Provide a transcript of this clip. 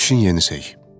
Axşamınız xeyir.